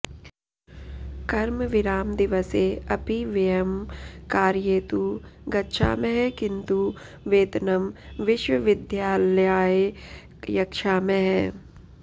कर्मविरामदिवसे अपि वयं कार्ये तु गच्छामः किन्तु वेतनं विश्वविद्यालयाय यच्छामः